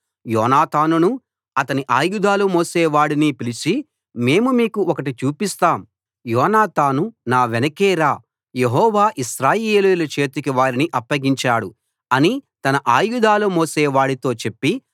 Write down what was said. యోనాతానును అతని ఆయుధాలు మోసేవాడిని పిలిచి మేము మీకు ఒకటి చూపిస్తాం రండి అన్నారు యోనాతాను నా వెనకే రా యెహోవా ఇశ్రాయేలీయుల చేతికి వారిని అప్పగించాడు అని తన ఆయుధాలు మోసేవాడితో చెప్పి